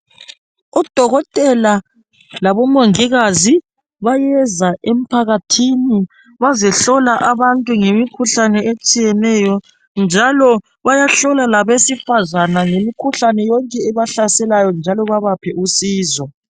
Odokotela labomongikazi bayeza emphakathini bazehlola abantu ngemikhuhlane etshiyeneyo njalo bayahlola labesifazana ngemikhuhlane yonke ebahlaselayo njalo babaphe usizo.